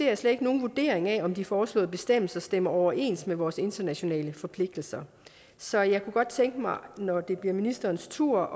jeg slet ikke nogen vurdering af om de foreslåede bestemmelser stemmer overens med vores internationale forpligtelser så jeg kunne godt tænke mig når det bliver ministerens tur